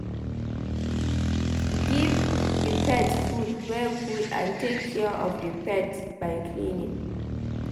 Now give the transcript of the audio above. Give di pet food wey good and take care of di pet by cleaning